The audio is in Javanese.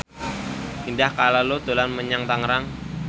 Indah Kalalo dolan menyang Tangerang